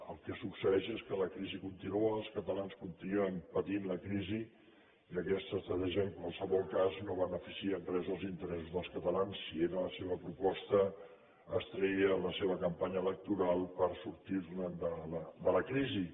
el que succeeix és que la crisi continua els catalans continuen patint la crisi i aquesta estratègia en qualsevol cas no beneficia en res els interessos dels catalans si era la seva proposta estrella a la seva campanya electoral per sortir de la crisi